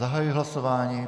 Zahajuji hlasování.